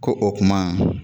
Ko o kuma